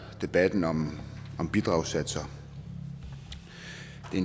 debatten om bidragssatser